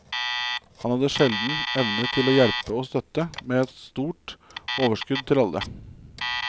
Han hadde en sjelden evne til å hjelpe og støtte, med et stort overskudd til alle.